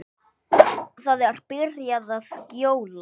Það er byrjað að gjóla.